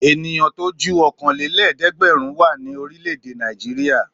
Ènìyàn tó ju ọ̀kanlélẹ́ẹ̀dẹ́gbẹ̀rún wà ní orílẹ̀-èdè Nàìjíríà.